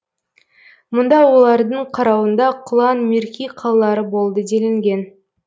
мұнда олардың қарауында құлан мирки қалалары болды делінген